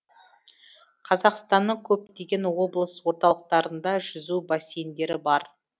қазақстанның көптеген облыс орталықтарында жүзу бассейндері бар